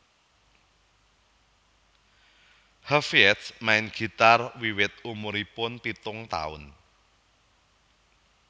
Hafiedz main gitar wiwit umuripun pitung taun